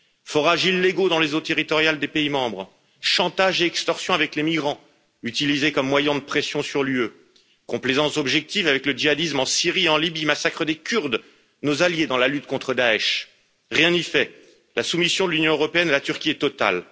Forages illégaux dans les eaux territoriales des pays membres, chantages et extorsions avec les migrants, utilisés comme moyen de pression sur l'Union européenne, complaisance objective avec le djihadisme en Syrie et en Libye, massacre des Kurdes, nos alliés dans la lutte contre Daech rien n'y fait, la soumission de l'Union européenne à la Turquie est totale.